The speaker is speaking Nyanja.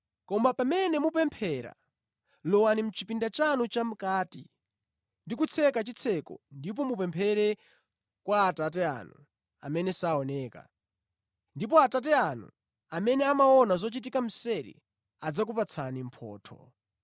Koma pamene mupemphera, lowani mʼchipinda chanu chamʼkati, ndi kutseka chitseko ndipo mupemphere kwa Atate anu amene saoneka. Ndipo Atate anu, amene amaona zochitika mseri, adzakupatsani mphotho.